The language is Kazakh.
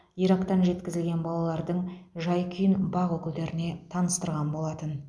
ирактан жеткізілген балалардың жай күйін бақ өкілдеріне таныстырған болатын